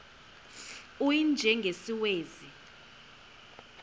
u y njengesiwezi